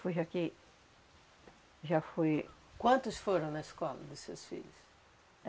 Foi já que... já foi... Quantos foram na escola dos seus filhos?